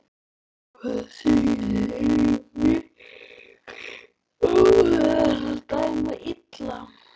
Hvað segiði, er Michael Oliver að dæma illa?